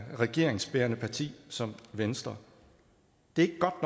regeringsbærende parti som venstre det er